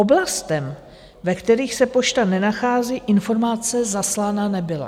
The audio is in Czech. Oblastem, ve kterých se pošta nenachází, informace zaslána nebyla.